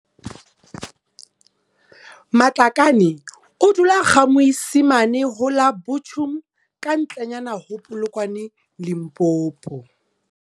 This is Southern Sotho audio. Matlakane o dula GaMoisimane ho la Buchum kantle nyana ho Polokwane Limpopo.